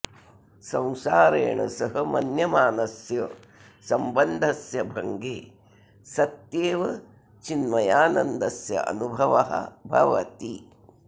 संसारेण सह मन्यमानस्य सम्बन्धस्य भङ्गे सत्येव चिन्मयानन्दस्य अनुभवः भवति